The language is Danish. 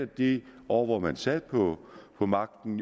de år hvor man sad på på magten